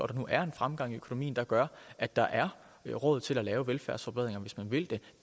nu er en fremgang i økonomien der gør at der er råd til at lave velfærdsforbedringer hvis man vil